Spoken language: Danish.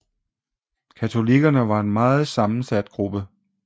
Katolikkerne var en meget sammensat gruppe